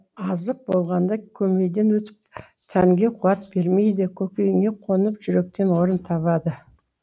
азып болғанда көмейден өтіп тәнге қуат бермейді көкейіңе қонып жүректен орын табады